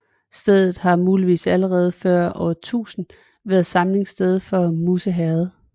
Stedet har muligvis allerede før år 1000 været samlingssted i Musse Herred